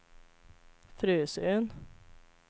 Frösön